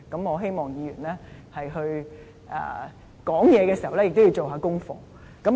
我希望議員發言前應做功課。